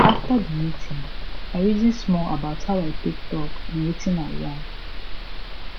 after di meeting i reason small about how i take talk and wetin i yarn